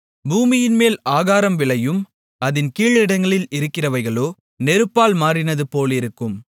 பூமியின்மேல் ஆகாரம் விளையும் அதின் கீழிடங்களிலிருக்கிறவைகளோ நெருப்பால் மாறினது போலிருக்கும்